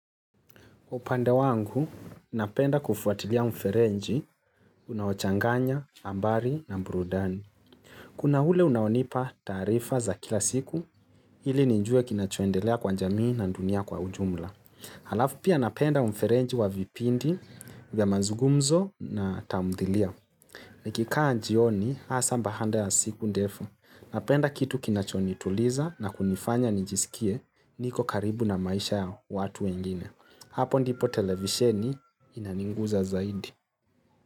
Upande wangu napenda kufuatilia mfereji unaochanganya habari na burudani. Kuna hule unaonipa taarifa za kila siku hili nijue kinachoendelea kwa jamii na dunia kwa ujumla. Halafu pia napenda mferenji wa vipindi vya mazugumzo na tamdhilia. Nikikaa jioni hasa baada ya siku ndefu. Napenda kitu kinacho nituliza na kunifanya nijisikie niko karibu na maisha ya watu wengine. Hapo ndipo televisheni inaninguza zaidi.